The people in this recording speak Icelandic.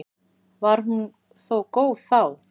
Var hún þó góð þá.